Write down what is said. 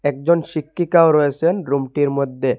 একজন শিক্ষিকাও রয়েসেন রুমটির মদ্যে।